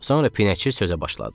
Sonra Pinəçi sözə başladı.